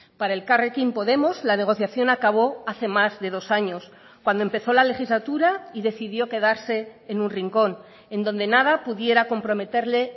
para elkarrekin podemos la negociación acabó hace más de dos años cuando empezó la legislatura y decidió quedarse en un rincón en donde nada pudiera comprometerle